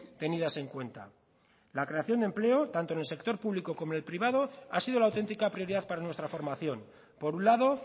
tenidas en cuenta la creación de empleo tanto en el sector público como en el privado ha sido la auténtica prioridad para nuestra formación por un lado